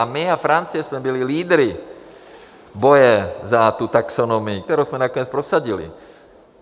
A my a Francie jsme byli lídry boje za tu taxonomii, kterou jsme nakonec prosadili.